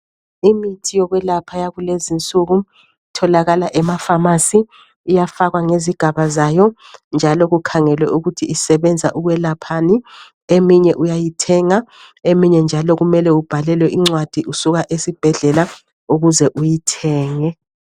Imithi yokwelapha yakulezi nsuku itholakala emafamasi, iyafakwa ngezigaba zayo njalo kukhangelwe ukuthi isebenza ukwelaphani, eminye uyayithenga eminye njalo kumele ubhalelwe incwadi usuka esibhedlela ukuze uyithenge.